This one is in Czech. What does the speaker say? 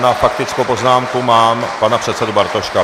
Na faktickou poznámku mám pana předsedu Bartoška.